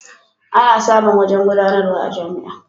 Ana samun wajen gudanarwa a jami'a.